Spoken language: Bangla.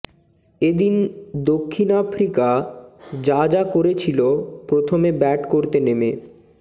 এদিন দক্ষিণ আফ্রিকা যা যা করেছিল প্রথমে ব্যাট করতে নেমেঃ